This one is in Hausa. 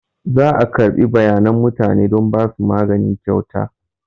Za a karɓi bayanan mutane don ba su magani kyauta.